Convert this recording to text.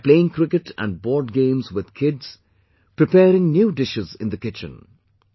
They are playing cricket and board games with kids; p reparing new dishes in the kitchen